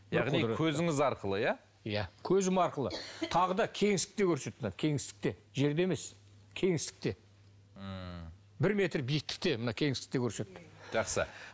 яғни көзіңіз арқылы иә иә көзім арқылы тағы да кеңістікте көрсетті кеңістікте жерде емес кеңістікте ммм бір метр биіктікте мына кеңістікте көрсетті жақсы